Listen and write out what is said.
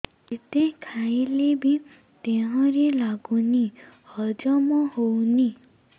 ଯେତେ ଖାଇଲେ ବି ଦେହରେ ଲାଗୁନି ହଜମ ହଉନି